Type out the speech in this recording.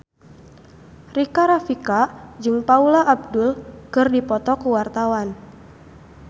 Rika Rafika jeung Paula Abdul keur dipoto ku wartawan